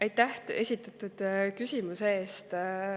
Aitäh esitatud küsimuse eest!